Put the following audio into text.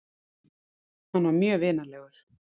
Hann var mjög vinalegur.